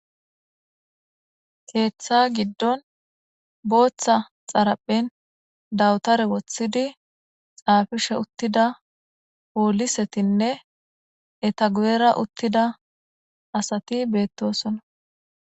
Keetha gidon Botha xaraphen dawtare wothidi xaafishe utida polisetine eta guyera daro asati betosona